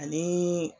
Ani